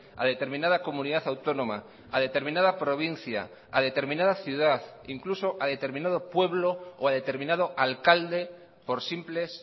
a determinada comunidad autónoma a determinada provincia a determinada ciudad incluso a determinado pueblo o a determinado alcalde por simples